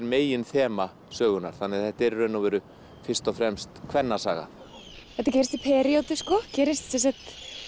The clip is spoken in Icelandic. meginþema sögunnar þannig að þetta er í raun og veru fyrst og fremst kvennasaga þetta gerist í sko gerist sem sagt